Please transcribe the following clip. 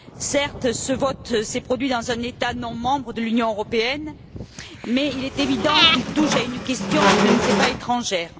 Certes, ce vote s'est produit dans un État non membre de l'Union européenne, mais il est évident qu'il touche à une question qui ne nous est pas étrangère.